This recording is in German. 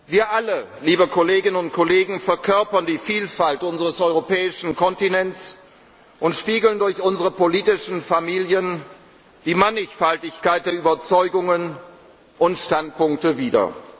Union. Wir alle, liebe Kolleginnen und Kollegen, verkörpern die Vielfalt unseres europäischen Kontinents und spiegeln durch unsere politischen Familien die Mannigfaltigkeit der Überzeugungen und Standpunkte